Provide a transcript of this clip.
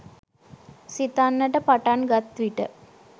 සිතන්නට පටන් ගත් විට